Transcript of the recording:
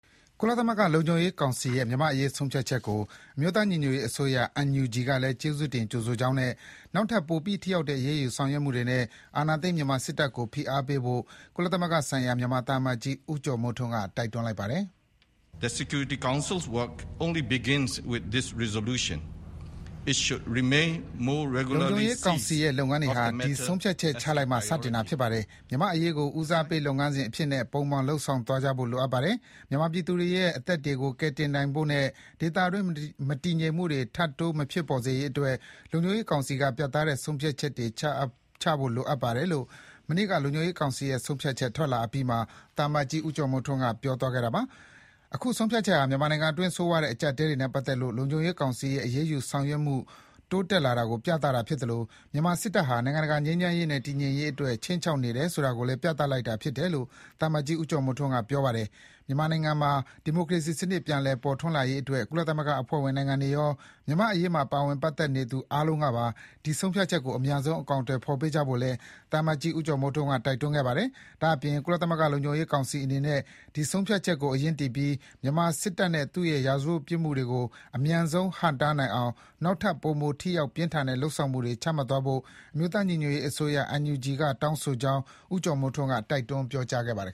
ကုလသမဂ္ဂ လုံခြုံရေးကောင်စီရဲ့ မြန်မာ့အရေး ဆုံးဖြတ်ချက်ကို အမျိုးသား ညီညွတ်ရေးအစိုးရ NUG ကလည်း ကျေးဇူးတင် ကြိုဆိုကြောင်းနဲ့ နောက်ထပ် ပိုပြီး ထိရောက်တဲ့ အရေးယူဆောင်ရွက်မှုတွေနဲ့ အာဏာသိမ်း မြန်မာစစ်တပ်ကို ဖိအားပေးဖို့ ကုလသမဂ္ဂ ဆိုင်ရာ မြန်မာသံအမတ်ကြီး ဦးကျော်မိုးထွန်းက တိုက်တွန်းလိုက်ပါတယ်။ “လုံခြုံရေးကောင်စီရဲ့ လုပ်ငန်းတွေဟာ ဒီဆုံးဖြတ်ချက်ချလိုက်မှ စတင်တာ ဖြစ်ပါတယ်။ မြန်မာ့အရေးကို ဦးစားပေးလုပ်ငန်းစဉ်အဖြစ်နဲ့ ပုံမှန် လုပ်ဆောင်သွားဖို့ လိုအပ်ပါတယ်။ မြန်မာပြည်သူတွေရဲ့အသက်တွေကို ကယ်တင်နိုင်ဖို့နဲ့ ဒေသတွင်း မတည်ငြိမ်မှုတွေ ထပ်တိုး မဖြစ်အောင် လုံခြုံရေးကောင်စီက ပြတ်သားတဲ့ဆုံးဖြတ်တွေ ချမှတ်ဖို့ လိုအပ်ပါတယ်” - လို့ ဒီဇင်ဘာ ၂၁ ရက် လုံခြုံရေး ကောင်စီရဲ့ ဆုံးဖြတ်ချက် ထွက်လာအပြီးမှာ သံအမတ်ကြီးဦးကျော်မိုးထွန်းက ပြောသွားတာပါ။ အခုဆုံးဖြတ်ချက်ဟာ မြန်မာနိုင်ငံတွင်း ဆိုးရွားတဲ့ အကျပ်အတည်းတွေနဲ့ ပတ်သက်လို့ လုံခြုံရေးကောင်စီရဲ့ အရေးယူ ဆောင်ရွက်မှု တိုးတက်လာတာကို ပြသတာဖြစ်သလို မြန်မာစစ်တပ်ဟာ နိုင်ငံတကာ ငြိမ်းချမ်းရေးနဲ့ တည်ငြိမ်ရေးအတွက် ခြိမ်းခြောက်နေတယ် ဆိုတာကိုလည်း ပြသလိုက်တာဖြစ်တယ်လို့ သံအမတ်ကြီးက ပြောကြားခဲ့ပါတယ်။ မြန်မာနိုင်ငံမှာ ဒီမိုကရေစီစံနစ် ပြန်လည် ပေါ်ထွန်းလာရေးအတွက် ကုလသမဂ္ဂအဖွဲ့ဝင်နိုင်ငံတွေရော၊ မြန်မာ့အရေးမှာ ပါဝင် ပတ်သက်နေသူ အားလုံးကပါ ဒီဆုံးဖြတ်ချက်ကို အမြန်ဆုံး အကောင်အထည်ဖော်ပေးကြဖို့လည်း သံအမတ်ကြီး ဦးကျော်မိုးထွန်းက တိုက်တွန်းခဲ့ပါတယ်။ ဒါ့အပြင် ကုလသမဂ္ဂ လုံခြုံရေးကောင်စီ အနေနဲ့ ဒီ ဆုံးဖြတ်ချက်ကို အရင်းတည်ပြီး မြန်မာစစ်တပ်နဲ့ သူ့ရဲ့ ရာဇဝတ်ပြစ်မှုတွေကို အမြန်ဆုံး ဟန့်တားနိုင်အောင် နောက်ထပ် ပိုမို ထိရောက် ပြင်းထန်တဲ့ လုပ်ဆောင်မှုတွေ ချမှတ်သွားဖို့ အမျိုးသားညီညွတ်ရေးအစိုးရ NUG က တောင်းဆိုကြောင်း ဦးကျော်မိုးထွန်းက တိုက်တွန်း ပြောကြားခဲ့ပါတယ်